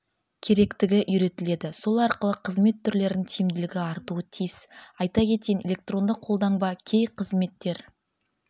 керектігі үйретіледі сол арқылы қызмет түрлерінің тиімділігі артуы тиіс айта кетейін электронды қолтаңба кей қызметтер